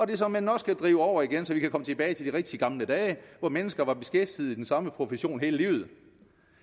det såmænd nok skal drive over igen så vi kan komme tilbage til de rigtig gamle dage hvor mennesker var beskæftiget i den samme profession hele livet